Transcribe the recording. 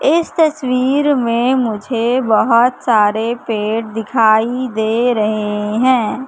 इस तस्वीर में मुझे बहुत सारे पेड़ दिखाई दे रहे है।